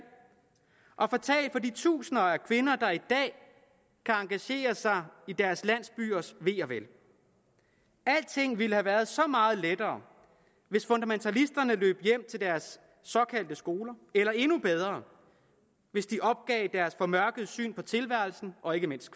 og fatalt for de tusinder af kvinder der i dag kan engagere sig i deres landsbyers ve og vel alting ville have været så meget lettere hvis fundamentalisterne løb hjem til deres såkaldte skoler eller endnu bedre hvis de opgav deres formørkede syn på tilværelsen og ikke mindst